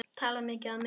Tala mikið á meðan.